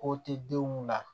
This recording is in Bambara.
Ko tɛ denw na